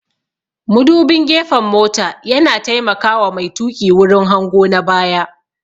Mudubin gefen mota yana taimaka wa mai tuƙi wurin hango na baya